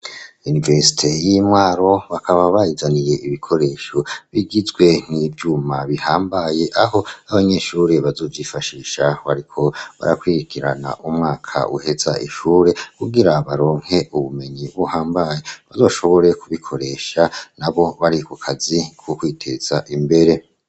Yunivesite y'imwaro bakaba bayizaniye ibikoresho bigizwe nk'ivyuma bihambaye aho abanyeshure bazujifashishaho, ariko barakwigirana umwaka uheza ishure kugira baronke ubumenyi b'uhambaye bazoshoboreyo kubikoresha na bo bari ku kazi k'ukwiteza ma mbere.